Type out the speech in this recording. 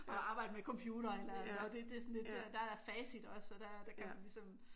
Og arbejde med computere eller og det er sådan lidt der er facit også så der der kan man ligesom